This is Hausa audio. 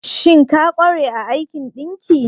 Shin ka kware a aikin ɗinki?